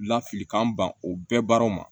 Lafilikan ban o bɛɛ baaraw ma